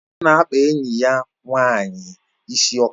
Ọ na-akpa enyi ya nwanyị isi ọka